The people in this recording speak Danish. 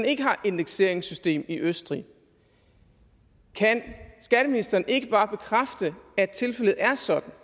ikke har et indekseringssystem i østrig kan skatteministeren ikke bare bekræfte at tilfældet er sådan